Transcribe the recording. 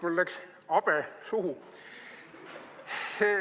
Mul läks habe suhu.